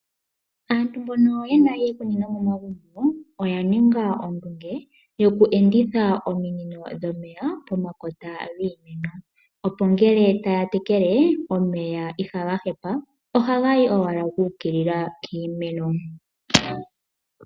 Aantu mbono ye na iikunino momagumbo oya ninga ondunge yokuenditha ominino dhomeya pomakota giimeno, opo ngele taya tekele, omeya itaga hepa, ihe otaga yi owala gu ukilila piimeno.